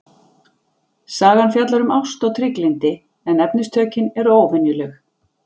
Sagan fjallar um ást og trygglyndi en efnistökin eru óvenjuleg.